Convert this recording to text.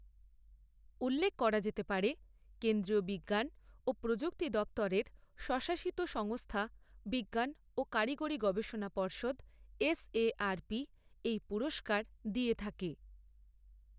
উল্লেখ করা যেতে পারে, কেন্দ্রীয় বিজ্ঞান ও প্রযুক্তি দপ্তরের স্বশাসিত সংস্থা বিজ্ঞান ও কারিগরি গবেষণা পর্ষদ এসএআরপি এই পুরস্কার দিয়ে থাকে।